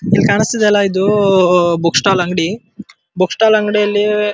ಕಾಣಿಸ್ತಿದೆ ಅಲ್ಲ ಇದು ಬುಕ್ ಸ್ಟಾಲ್ ಅಂಗಡಿ ಬುಕ್ ಸ್ಟಾಲ್ ಅಂಗಡಿ ಯಲ್ಲಿ--